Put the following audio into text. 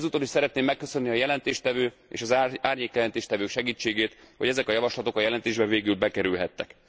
Ezúton is szeretném megköszönni a jelentéstevő és az árnyékjelentéstevők segítségét, hogy ezek a javaslatok a jelentésbe végül bekerülhettek.